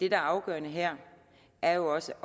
er afgørende her er jo også